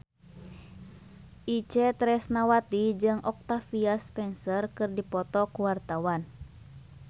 Itje Tresnawati jeung Octavia Spencer keur dipoto ku wartawan